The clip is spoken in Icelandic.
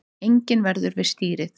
Enginn verður við stýrið